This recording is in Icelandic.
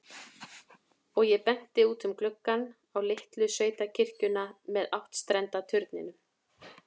Og ég bendi út um gluggann, á litlu sveitakirkjuna með áttstrenda turninum.